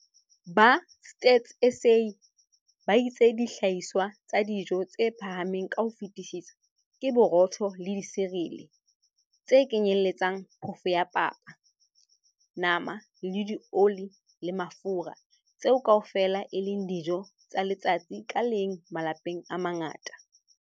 Ba Stats SA ba itse dihlahiswa tsa dijo tse phahameng ka ho fetisisa ke borotho le disirele, tse kenyeletsang phofo ya papa, nama le dioli le mafura - tseo kaofela e leng dijo tsa letsatsi ka leng malapeng a mangata.